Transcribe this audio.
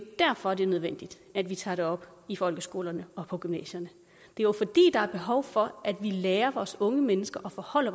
derfor det er nødvendigt at vi tager det op i folkeskolerne og på gymnasierne det er jo fordi der er behov for at vi lærer vores unge mennesker at forholde